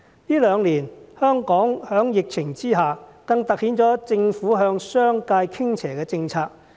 這兩年，香港在疫情之下，政府向商界傾斜的政策更為突出。